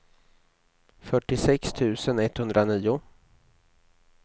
fyrtiosex tusen etthundranio